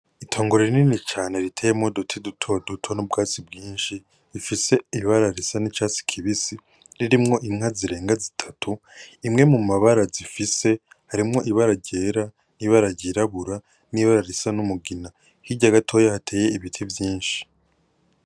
Itongo rinini cane riteyemwo uduti duto duto n'ubwatsi bwinshi, bifise ibara risa n'icatsi kibisi, ririmwo inka zirenga zitatu, imwe mu mabara zifise harimwo ibara ryera, n'ibara ryirabura, n'ibara risa n'umugina, hirya gatoya hateye ibiti vyinshi.